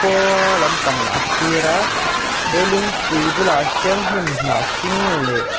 khua lampang a thlir a he lungpui bulah hian hnim hnah hring leh--